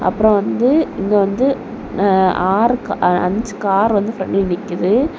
அப்ரோ வந்து இங்க வந்து ஆர்க் அஞ்சு கார் வந்து பிராண்ட்ல நிக்குது.